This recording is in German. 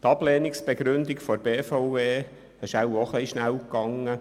Die Ablehnungsbegründung der BVE ist wohl auch etwas schnell gegangen.